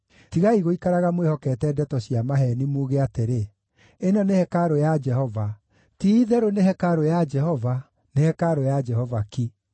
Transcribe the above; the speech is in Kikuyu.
Tigai gũikaraga mwĩhokete ndeto cia maheeni, muge atĩrĩ, “Ĩno nĩ hekarũ ya Jehova, ti-itherũ nĩ hekarũ ya Jehova, nĩ hekarũ ya Jehova ki!”